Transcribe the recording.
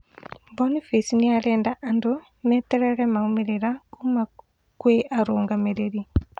Boniface niarenda andũ meterere maumĩrĩra kuma gwĩ arũgamĩrĩri